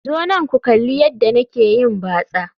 Zo nan ku kalli yadda nake yin batsa